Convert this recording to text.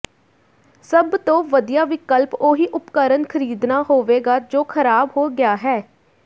ਸਭ ਤੋਂ ਵਧੀਆ ਵਿਕਲਪ ਉਹੀ ਉਪਕਰਨ ਖਰੀਦਣਾ ਹੋਵੇਗਾ ਜੋ ਖਰਾਬ ਹੋ ਗਿਆ ਹੈ